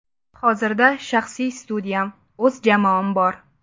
Hozirda shaxsiy studiyam, o‘z jamoam bor.